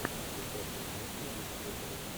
включай классную киношку в духе оперы